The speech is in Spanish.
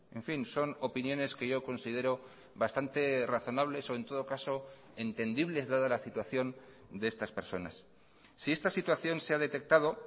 en fin son opiniones que yo considero bastante razonables o en todo caso entendibles dada la situación de estas personas si esta situación se ha detectado